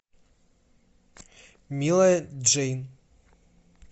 милая джейн